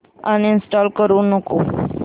uninstall करू नको